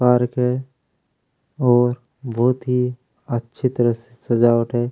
Park है और बहुत ही अच्छी तरह से सजावाट है।